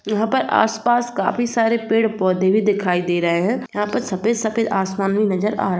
यहाँ पर आस-पास काफी सारे पेड़-पौधे भी दिखाई दे रहे है यहाँ पर सफ़ेद सफ़ेद आसमान भी नजर आ --